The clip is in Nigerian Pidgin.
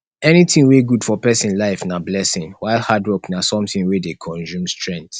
anything wey good for persin life na blessing while hard work na something wey de consume strength